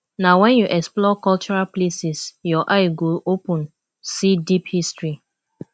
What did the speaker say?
na wen you explore cultural places your eye go open see deep history